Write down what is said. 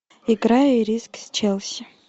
игра ирисок с челси